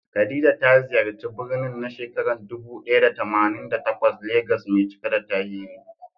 Khadija ta ziyarci birnin na shekarar dubu ɗaya da tamanin da takwas Legas mai cike da tarihi.